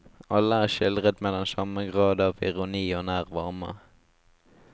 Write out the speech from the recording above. Alle er skildret med den samme grad av ironi og nær varme.